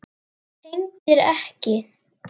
Tengdir ekki.